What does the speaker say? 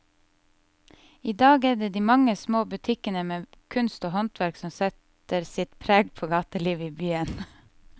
I dag er det de mange små butikkene med kunst og håndverk som setter sitt preg på gatelivet i byen.